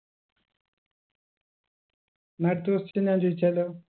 ന്നാ അടുത്ത question ഞാൻ ചോയിച്ചാലോ